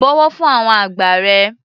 Bọ̀wọ̀ fún àwọn àgbà rẹ.